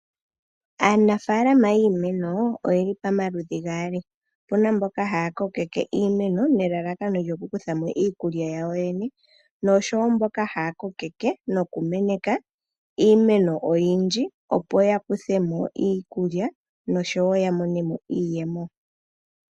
Aanafaalama yiimeno oyeli pamaludhi gaali. Opuna mboka haya kokeke iimeno nelalakano lyokukuthamo iikulya yawo yene noshowo mboka haya kokeke nokumeneka iimeno oyindji opo yakuthemo iikulya noshowo ya monemo iiyemo.